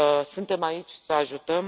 Suntem aici să ajutăm.